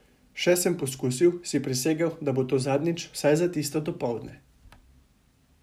Še sem poskusil, si prisegel, da bo to zadnjič, vsaj za tisto dopoldne.